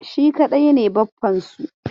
Shi kaɗai ne baffansu.